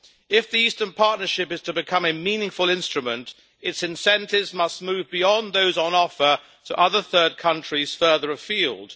If the Eastern Partnership is to become a meaningful instrument, its incentives must move beyond those on offer to other third countries further afield.